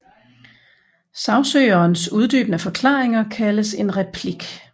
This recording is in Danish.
Sagsøgerens uddybende forklaringer kaldes en replik